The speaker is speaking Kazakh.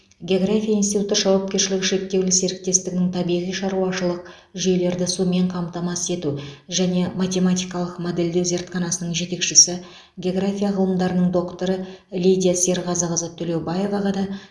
география институты жауапкершілігі шектеулі серіктестігінің табиғи шаруашылық жүйелерді сумен қамтамасыз ету және математикалық модельдеу зертханасының жетекшісі география ғылымдарының докторы лидия серғазықызы төлеубаеваға да